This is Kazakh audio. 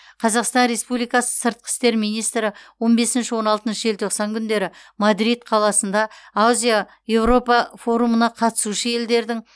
қазақстан республикасы сыртқы істер министрі он бесінші он алтыншы желтоқсан күндері мадрид қаласында азия еуропа форумына қатысушы елдердің